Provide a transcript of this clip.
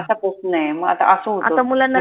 आता पासून आय म आता आस होत